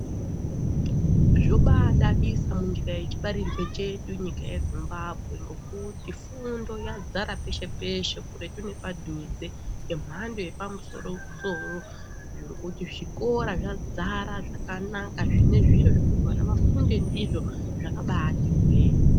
Zvobadadisa munyika yechibarirwe chedu nyika yeZimbabwe ngokuti fundo yadzara peshe-peshe kuretu nepadhuze zvemhando yepamusoro-soro zvokuti zvikora zvadzara zvakanaka zvine zviro zvekuti vana vafunde ndizvo zvakabati hwe.